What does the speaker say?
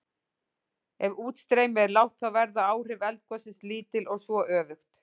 Ef útstreymi er lágt þá verða áhrif eldgossins lítil og svo öfugt.